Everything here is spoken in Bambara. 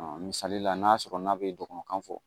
misali la n'a sɔrɔ n'a bɛ dɔgɔnɔ kan fɔ